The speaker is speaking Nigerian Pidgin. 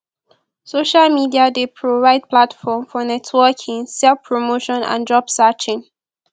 social media dey provide platform for networking selfpromotion and job searching